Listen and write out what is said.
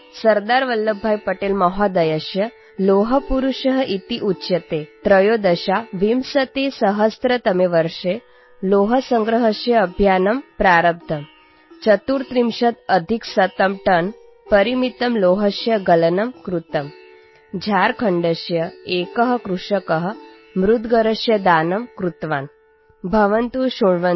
अस्मि | अद्य संस्कृतदिनम् अस्ति | सर्वेभ्यः बहव्यः शुभकामनाः सन्ति| सरदारवल्लभभाईपटेलमहोदयः लौहपुरुषः इत्युच्यते | २०१३तमे वर्षे लौहसंग्रहस्य अभियानम् प्रारब्धम् | १३४टनपरिमितस्य लौहस्य गलनं कृतम् | झारखण्डस्य एकः कृषकः मुद्गरस्य दानं कृतवान् | भवन्तः शृण्वन्तु रेडियोयुनिटीनवतिएफ्